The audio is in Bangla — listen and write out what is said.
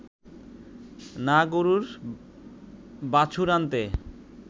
না গরুর বাছুর আনতে